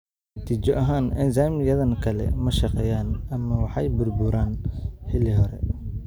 Natiijo ahaan, enzymes-yadan kale ma shaqeeyaan, ama waxay burburaan xilli hore.